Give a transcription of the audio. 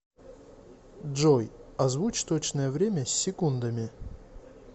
джой озвучь точное время с секундами